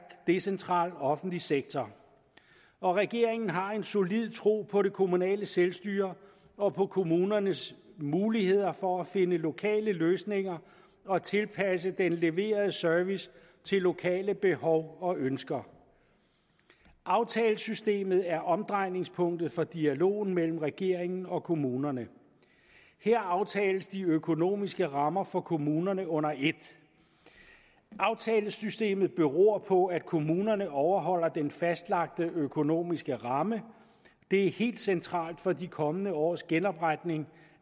decentral offentlig sektor og regeringen har en solid tro på det kommunale selvstyre og på kommunernes muligheder for at finde lokale løsninger og tilpasse den leverede service til lokale behov og ønsker aftalesystemet er omdrejningspunktet for dialogen mellem regeringen og kommunerne her aftales de økonomiske rammer for kommunerne under et aftalesystemet beror på at kommunerne overholder den fastlagte økonomiske ramme det er helt centralt for de kommende års genopretning